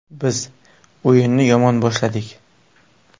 Biz o‘yinni yomon boshladik.